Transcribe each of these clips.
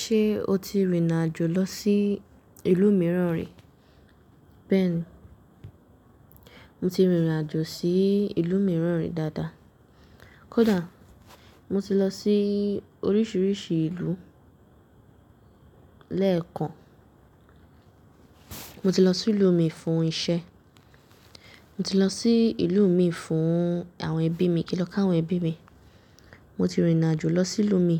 Ṣe o ti rìnrìn àjò lọ sí ìlú mìíràn rí? Bẹ́ẹ̀ni, mo ti rìnrìn àjò sí ìlú mìíràn rí dáadáa. Kódà mo ti lọ sí oríṣiríṣi ìlú lẹ́ẹ̀kan. Mo ti lọ sí ìlú mi fún iṣẹ́, mo ti lọ sí ìlú mi fún àwọn ẹbí mi kí n lọ káwọn ẹbí mi. Mo ti rìnrìn àjò lọ sí ìlú mi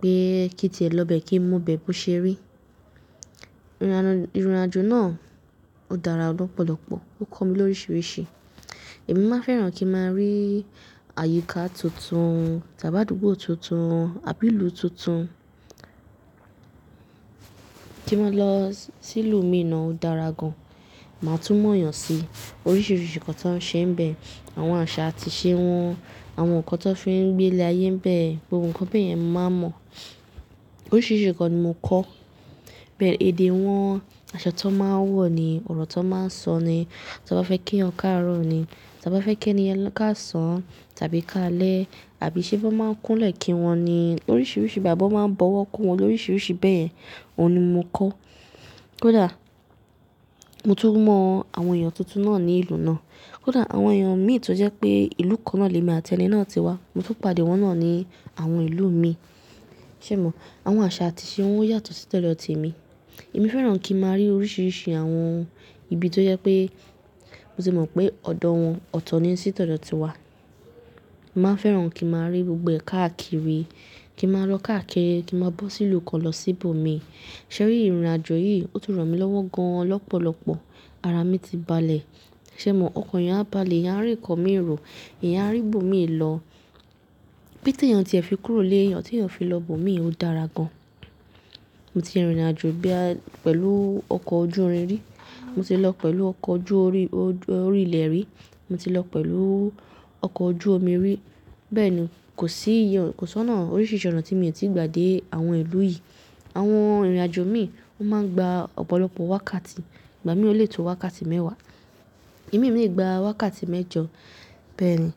pé kí tí è lọ bẹ kí n mọ bẹ́ẹ̀ bó ṣe rí. Irin àjò náà ó dára lọ́pọ̀lọpọ̀, ó kọ́ mi lóríṣiríṣi. Èmi máa fẹ́ràn kí n máa rí àyíká tuntun, tabi àdúgbò tuntun, abi ilu tuntun. Kí n máa lọ sí ìlú mi náà ó dára gan. Màá tún mọ̀ yàn sí oríṣiríṣi ǹkan tó ń ṣe níbẹ̀, àwọn àṣà àti ìṣe wọn, àwọn ǹkan tó fi ń gbé'lé ayé níbẹ̀, gbogbo ǹkan bẹ́ẹ̀ yẹn màá mọ̀. Oríṣiríṣi ǹkan ni mò ń kọ́, bẹ́ẹ̀ èdè wọn, aṣọ tó máa ń wọ̀ ni, ọ̀rọ̀ tó máa ń sọ ni, tí wọ́n bá fẹ́ kí wọn káàárọ̀ ni, tí wọ́n bá fẹ́ kí ẹni káàsán tàbí káalẹ̀ àbí ṣe bá máa ń kúnlẹ̀ kí wọn ni. Oríṣiríṣi ìgbàgbọ́ máa ń bọ̀wọ̀ kó wọn lóríṣiríṣi bẹ́ẹ̀, òun ni mò ń kọ́. Kódà mo tún mọ àwọn èèyàn tuntun náà ní ìlú náà, kódà àwọn èèyàn mi tó jẹ́ pé ìlú kan náà ni èmi àti ẹni náà ti wá, mo tún pàdé wọ́n náà ní àwọn ìlú mi. Ṣé èèyàn mọ̀? Àwọn àṣà àti ìṣe wọn yàtọ̀ sí títọ́jọ́ tí mi. Èmi fẹ́ràn kí n máa rí oríṣiríṣi àwọn ibi tó jẹ́ pé mo ti mọ̀ pé ọ̀dọ̀ wọn, ọ̀tọ̀ ni sí todo ti wá. Màá fẹ́ràn kí n máa rí gbogbo ẹ̀ka àkiri, kí n máa lọ káàkiri, kí n máa bọ́ sí ìlú kan lọ síbò mi. Ṣé rí, rìnrìn àjò yìí ó tún ràn mí lọ́wọ́ gan lọ́pọ̀lọpọ̀. Ara mi ti balẹ̀. Ṣé èèyàn mọ̀? Ọkàn ìyá ń bá le, ìyá ń rí ọkọ mi ìrò, ìyá ń rí ibo mi ìlọ. Bí tí èèyàn tiẹ̀ fi kúrò lé èèyàn tí èèyàn fi lọ ibo mi, ó dára gan. Mo ti rìnrìn àjò bí a pẹ̀lú ọkọ̀ ojú irin rí, mo ti lọ pẹ̀lú ọkọ̀ ojú orí, ojú orí ilẹ̀ rí, mo ti lọ pẹ̀lú ọkọ̀ ojú omi rí. Bẹ́ẹ̀ni, kò sí iye, kò sọ́nà oríṣiríṣi ònà tí mo ò tí ì gba dé àwọn ìlú yìí. Àwọn rìnrìn àjò mi, wọ́n máa ń gba ọ̀pọ̀lọpọ̀ wákàtí. Ìgbà mìíràn lè tó wákàtí mẹ́wàá. Ìdí mi ò lè gba wákàtí mẹ́jọ. Bẹ́ẹ̀ni,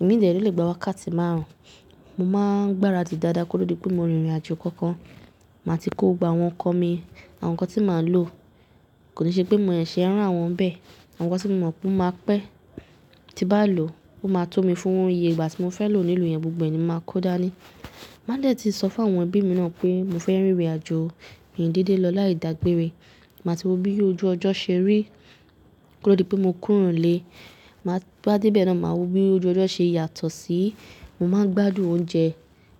ẹ̀mí lè lọ lè gba wákàtí márùn-ún. Mo máa ń gbára tì dáadáa kó ó di pé mo rìnrìn àjò kankan, màá ti kó gbà wọ́n kọ́ mi àwọn ǹkan tí màá lò. Kò ní ṣe pé mo mọ ẹ̀ṣẹ̀ rún àwọn bẹ́ẹ̀. Àwọn ǹkan tí mo mọ̀ pé máa pẹ́ tí bá lò, ó máa tó mi fún iye ìgbà tí mo fẹ́ lò ní ìlú yẹn gbogbo ni mo máa kó dáa ni. Màá lè tì sọ fún àwọn ẹbí mi náà pé mo fẹ́ rìnrìn àjò ìyìndíde lọ láìda gbére. Màá ti wo bí ojú ọjọ́ ṣe rí kó ó di pé mo kúrò lé. Máa bá tí bẹ́ẹ̀ náà, màá wo bí ojú ọjọ́ ṣe yàtọ̀ sí i. Mo máa ń gbádùn oúnjẹ,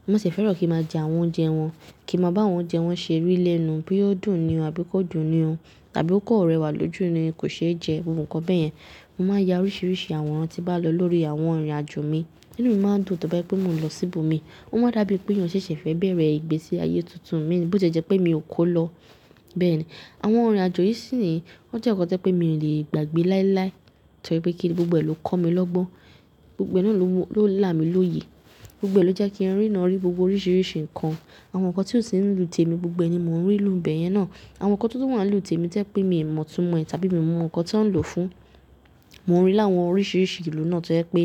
mo sì fẹ́ràn kí n máa jẹ àwọn oúnjẹ wọn, kí n máa bá àwọn oúnjẹ wọn ṣe rí lẹ́nu bí ó dùn ni o àbí kò dùn ni o tàbí ó kọ̀ rẹwà lójú ni kò ṣe é jẹ gbogbo ǹkan bẹ́ẹ̀ yẹn. Mo máa ya oríṣiríṣi àwọn ǹkan tí bá lọ lórí àwọn rìnrìn àjò mi. Ìdí mi máa dùn tọ́ bá pé mo n lọ síbò mi. Ó máa dàbí pé ìyẹn ṣẹ̀ṣẹ̀ fẹ́ bẹ̀rẹ̀ ìgbésí ayé tuntun mí bí ó ṣe jẹ́ pé mi ò kó lọ. Bẹ́ẹ̀ni, àwọn rìnrìn àjò yìí sì ni wọ́n jẹ́ ǹkan tí ẹ pé mi lè gbàgbé láíláí torí pé kí ni gbogbo ẹ̀ ló kọ́ mi lọ́gbọ́n. Gbogbo ẹ̀ náà ló won, ló là mí lóye. Gbogbo ẹ̀ ló jẹ́ kí n rí iná orí gbogbo oríṣiríṣi ǹkan. Àwọn ǹkan tí ó sì ń lù témi gbogbo ni mò ń rí ìlú bẹ́ẹ̀ yẹn náà. Àwọn ǹkan tó tún wà lù témi tí ẹ pé mi ò mọ̀ tún mọ̀ ẹ́ tàbí mi ò mọ̀ ǹkan tí ò ń lò fún. Mo ń rí láwọn oríṣiríṣi ìlú náà tí ẹ pé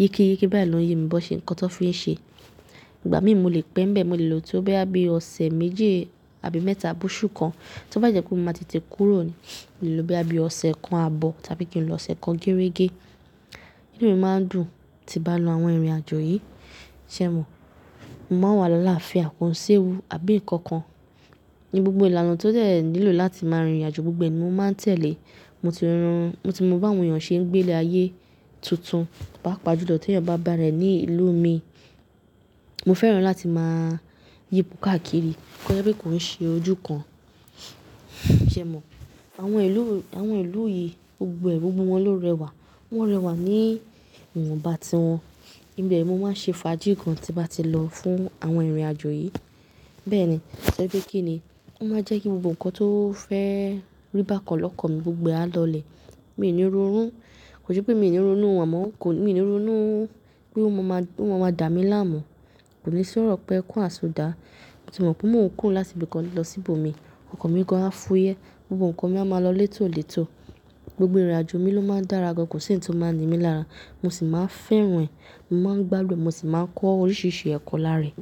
yíki yikií bá yi lo ye mi ǹkan tó fi ń ṣe. Ìgbà mìíràn mo lè pẹ́ bẹ́ẹ̀, mo lè lo tí ó bá bí ọ̀sẹ̀ méje àbí mẹ́ta àbú su kan. Tí ó bá jẹ́ pé mo máa ti tì kúrò ni, lè lo bí ẹbí ọ̀sẹ̀ kan àbọ̀ tàbí kí n lọ ọ̀sẹ̀ kan gérégé. Ìdí mi máa ń dùn tí bá lọ àwọn rìnrìn àjò yìí. Ṣé èèyàn mọ̀? Mo máa wà lọ́wọ́ alááfín àpò ń ṣe ewú àbí ǹkan kan ní gbogbo ìlànà tí ó tẹ̀ nílò láti máa rìnrìn àjò gbogbo ní mo máa tẹ̀lé. Mo ti ríran, mo ti mọ bí àwọn èèyàn ṣe ń gbé'lé ayé tuntun bá pa gbójú lọ tí èèyàn bá bà rẹ̀ ní ìlú mi. Mo fẹ́ràn láti máa yípo káàkiri kó ẹ́ rí bí kò ń ṣe ojú kan. Ṣé è mọ̀? Àwọn ìlú, àwọn ìlú yìí gbogbo ẹ̀, gbogbo wọn ló rẹwà. Wọn rẹwà ní ìwọ̀nba ti wọn. Ìdí bẹ́ẹ̀ ni mo máa ń ṣe fàájì gan tí bá ti lọ fún àwọn irin àjò yìí. Bẹ́ẹ̀ni, torí pé kí ni, ó máa jẹ́ kí gbogbo ǹkan tó fẹ́ rí bá kan lọ́kàn mi gbogbo á lọ lẹ̀. Mi ò ní rorún, kò jẹ́ pé mi ò ní ronú, àmọ́ kò ní, mi ò ní ronú pé wọn máa, pé wọn máa dà mí láàmú. Kò ní sí ọ̀rọ̀ pé ẹ kú àsùndá. Mo ti mọ̀ pé mò ń kùn láti ibi kan lọ síbò mi. Ọkọ̀ mi kan á fúyẹ́, gbogbo ǹkan mi á máa lọ létòólètò. Gbogbo rìnrìn àjò mi ló máa ń dára gan, kò sí ohun tí ó máa ń di mí lára. Mo sì máa ń fẹ́ ràn, mo máa ń gbádùn, mo sì máa ń kọ́ oríṣiríṣi ẹ̀kọ́ lára e.